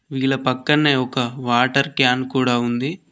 వీళ్ల పక్కన్నే ఒక వాటర్ క్యాన్ కూడా ఉంది.